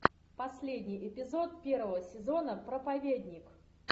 последний эпизод первого сезона проповедник